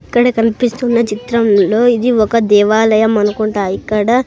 ఇక్కడ కన్పిస్తున్న చిత్రంలో ఇది ఒక దేవాలయం అనుకుంటా ఇక్కడ--